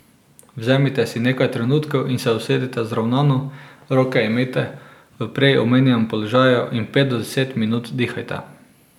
Vzemite si nekaj trenutkov in se usedite zravnano, roke imejte v prej omenjenem položaju in pet do deset minut dihajte.